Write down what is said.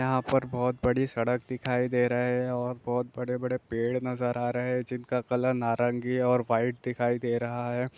यहां पर बहुत बड़ी सड़क दिखाई दे रहे है और बहुत बड़े-बड़े पेड़ नजर आ रहे है जिनका कलर नारंगी और व्हाइट दिखाई दे रहा है।